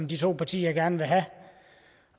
de to partier gerne vil have